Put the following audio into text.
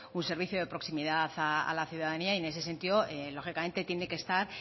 un servicio de proximidad a la ciudadanía en ese sentido lógicamente tiene que estar